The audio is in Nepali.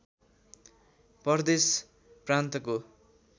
प्रदेश प्रान्तको